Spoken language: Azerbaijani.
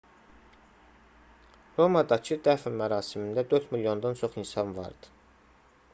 romadakı dəfn mərasimində 4 milyondan çox insan vardı